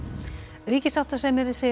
ríkissáttasemjari segir að